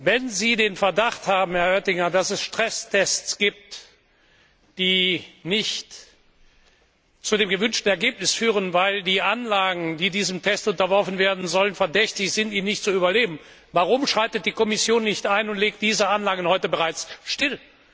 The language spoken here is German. Wenn Sie den Verdacht haben, Herr Oettinger, dass es Stresstests gibt, die nicht zu dem gewünschten Ergebnis führen, weil die Anlagen, die diesem Test unterworfen werden sollen, ihn möglicherweise nicht überleben, warum schreitet die Kommission nicht ein und legt diese Anlagen heute bereits still?